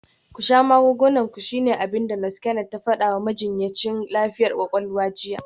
“Ku sha magungunan ku shine abin da Nurse Kennet ta fada wa majinyacin lafiyar kwakwalwa jiya.